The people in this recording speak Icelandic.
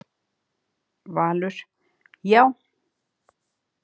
Valur: Já.